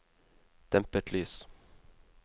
dempet lys